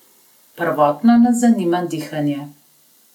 Prvotno nas zanima dihanje.